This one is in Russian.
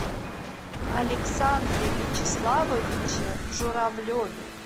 александре вячеславовиче журавлеве